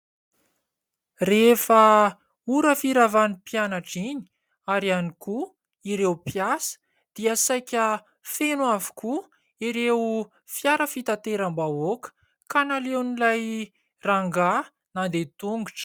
Rehefa ora firavan'ny mpianatra iny ary ihany koa ireo mpiasa dia saika feno avokoa ireo fiara fitateram-bahoaka ka naleon'ilay rangahy nandeha tongotra.